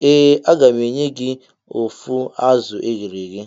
Ee mu ga enye gi of azu eghere eghe.